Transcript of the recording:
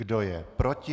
Kdo je proti?